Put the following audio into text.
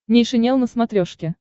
нейшенел на смотрешке